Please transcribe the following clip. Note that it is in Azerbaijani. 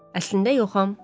Əslində yoxam.